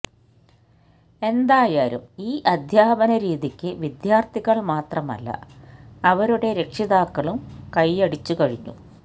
എന്തായാലും ഈ അധ്യാപനരീതിക്ക് വിദ്യാര്ത്ഥികള് മാത്രമല്ല അവരുടെ രക്ഷിതാക്കളും കയ്യടിച്ചുകഴിഞ്ഞു